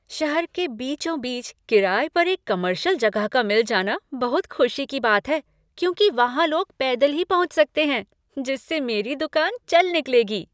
शहर के बीचों बीच किराए पर एक कॉमर्शियल जगह का मिल जाना बहुत खुशी की बात है क्योंकि वहाँ लोग पैदल ही पहुँच सकते हैं जिससे मेरी दुकान चल निकलेगी।